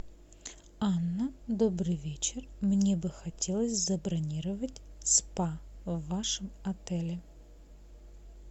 анна добрый вечер мне бы хотелось забронировать спа в вашем отеле